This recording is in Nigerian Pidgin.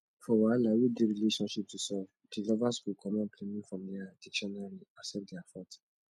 for wahala wey dey relationship to solve di lovers go comot blaiming from their dictionary accept their fault